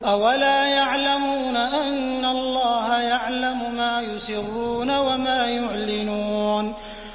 أَوَلَا يَعْلَمُونَ أَنَّ اللَّهَ يَعْلَمُ مَا يُسِرُّونَ وَمَا يُعْلِنُونَ